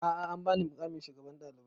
A'a an ba ni muƙamin shugaban ɗalibai